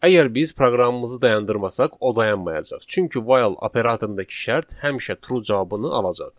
Əgər biz proqramımızı dayandırmasaq, o dayanmayacaq, çünki while operatorundakı şərt həmişə true cavabını alacaq.